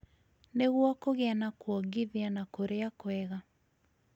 Nĩguo kũgĩa na kuongithia na kũrĩá kwega,